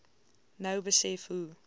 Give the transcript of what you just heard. nou besef hoe